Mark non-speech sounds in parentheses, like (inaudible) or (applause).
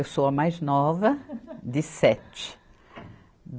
Eu sou a mais nova (laughs) de sete.